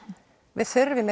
við þurfum